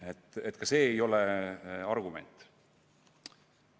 Nii et see ei ole argument.